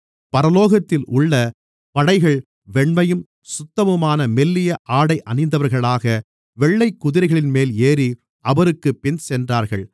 பரலோகத்திலுள்ள படைகள் வெண்மையும் சுத்தமுமான மெல்லிய ஆடை அணிந்தவர்களாக வெள்ளைக் குதிரைகளின்மேல் ஏறி அவருக்குப் பின் சென்றார்கள்